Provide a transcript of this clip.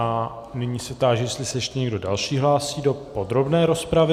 A nyní se táži, jestli se ještě někdo další hlásí do podrobné rozpravy.